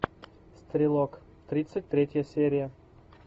стрелок тридцать третья серия